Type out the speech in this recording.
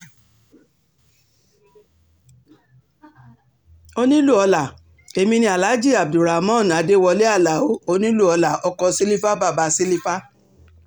onílù-ọ̀la èmi ni aláàjí abdulramon adewolé aláo onílù-ọlá ọkọ̀ sílífà bàbá sílífà